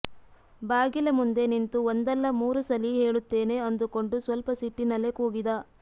ಬಾಗಿಲ ಮುಂದೆ ನಿಂತು ಒಂದಲ್ಲ ಮೂರು ಸಲಿ ಹೇಳುತ್ತೇನೆ ಅಂದುಕೊಂಡು ಸ್ವಲ್ಪ ಸಿಟ್ಟಿನಲ್ಲೇ ಕೂಗಿದ